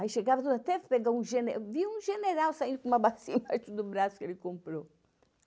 Aí chegava, até pegar um gene, vi um general saindo com uma bacia embaixo do braço que ele comprou.